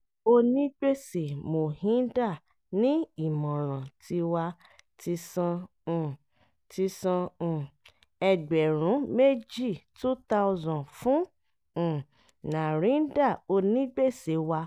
onigbèsè mohinder ní ìmọ̀ràn tiwa ti san um ti san um ẹgbẹ̀rún méjì( two thousand ) fún um narinder onígbèsè wa